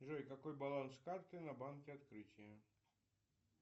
джой какой баланс карты на банке открытие